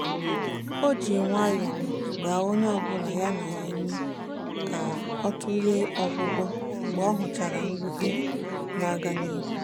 o ji nwayọ gbaa onye ọ bụ ya na ya ume ka ọ tụlee ọgwụgwọ mgbe ọ hụchara mwute na-aga n'ihu.